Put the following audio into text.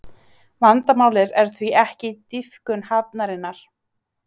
Vandamálið er því ekki dýpkun hafnarinnar